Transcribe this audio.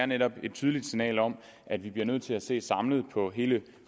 netop er et tydeligt signal om at vi bliver nødt til at se samlet på hele